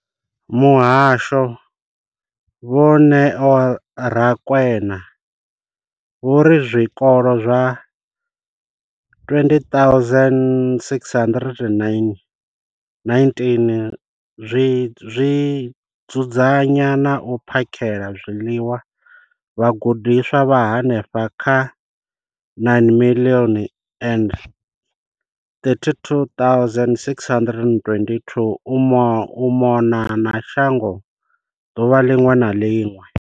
Muhasho vho Neo Rakwena vho ri zwikolo zwa 20 619 zwi dzudzanya na u phakhela zwiḽiwa vhagudiswa vha henefha kha 9 032 622 u mona na shango ḓuvha ḽiṅwe na ḽiṅwe.